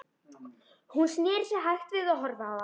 Hann sneri sér hægt við og horfði á hana.